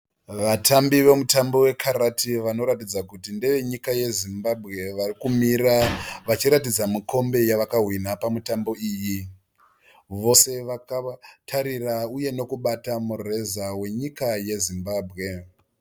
Vatambi vemutambo vekarate vanoratidza kuti ndevenyika yeZimbabwe. Varikumira vachiratidza mukombe yavakawina pamitambo iyi. Vose vakatarira uye nokubata mureza wenyika yeZimbabwe.